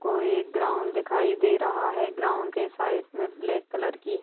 कोई एक ग्राउंड दिखाई दे रहा है ग्राउंड के साइड मे ब्लैक कलर की--